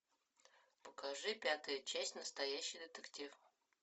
покажи пятую часть настоящий детектив